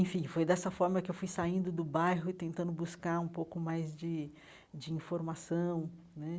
Enfim, foi dessa forma que fui saindo do bairro e tentando buscar um pouco mais de de informação né.